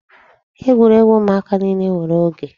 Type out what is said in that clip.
Egwuregwu ụmụaka niile nwere oge.